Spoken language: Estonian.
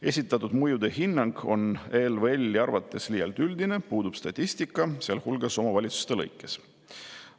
Esitatud mõjuhinnang on ELVL-i arvates liialt üldine, puudub statistika, sealhulgas omavalitsuste lõikes.